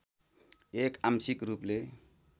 एक आंशिक रूपले